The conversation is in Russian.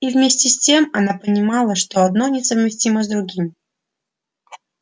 и вместе с тем она понимала что одно несовместимо с другим